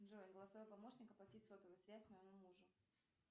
джой голосовой помощник оплатить сотовую связь моему мужу